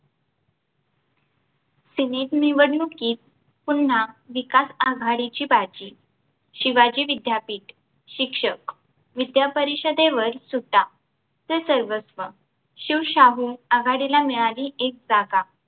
senate निवडणुकीत पुन्हा विकास आघाडीची बाजी शिवाजी विद्यापीठ शिक्षक विद्यापरिषदेवर सुद्धा ते सर्वस्व शिवशाहू आघाडीला मिळाली एक जागा